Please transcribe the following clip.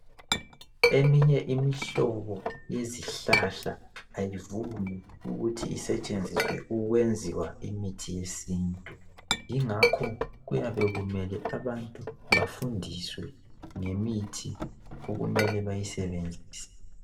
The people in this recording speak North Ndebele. Eminye imihlobo yezihlahla ayivumi ukuthi isetshenziswe ukwenziwa imithi yesintu yingakho kuyabe kumele abantu befundiswe ngemithi okumele beyisebenzise